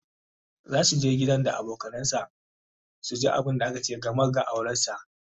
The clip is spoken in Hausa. zasu je gidan da abokanansa su ji abunda aka ce game da auransa